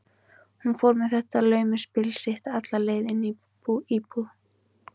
Hún fór með þetta laumuspil sitt alla leið inn í íbúð